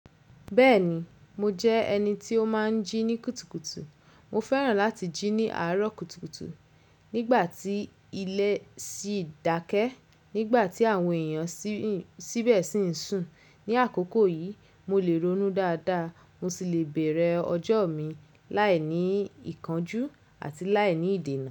Bẹ́ẹ̀ni mo jẹ́ ẹni tí ó máa ń jí ní kùtùkùtù. Mo fẹ́ràn láti jí ní àárọ̀ kùtùkùtù nígbà tí ilé ṣì dákẹ́, nígbà tí àwọn èèyàn sìbẹ̀ ṣì ń sùn. Ni àkókò yìí mo lè ronú dáadáa, mo sì lè bẹ̀rẹ̀ ọjọ́ mi láì ní ìkánjú àti láì ní ìdènà.